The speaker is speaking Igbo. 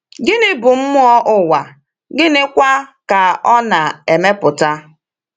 Gịnị bụ mmụọ ụwa, gịnịkwa ka ọ na-emepụta?